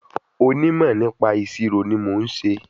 Onímò nípa ìṣirò ni mo n ṣe